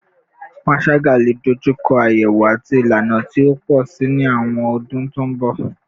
Panṣaga le dojuko ayewo ati ilana ti o pọ si ni awọn ọdun to n bọ